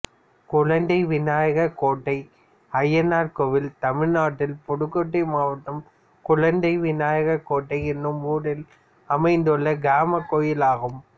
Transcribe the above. குழந்தைவிநாயகர்கோட்டை அய்யனார் கோயில் தமிழ்நாட்டில் புதுக்கோட்டை மாவட்டம் குழந்தைவிநாயகர்கோட்டை என்னும் ஊரில் அமைந்துள்ள கிராமக் கோயிலாகும்